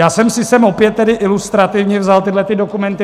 Já jsem si sem opět tedy ilustrativně vzal tyhle dokumenty.